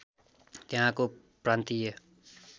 त्यहाँको प्रान्तीय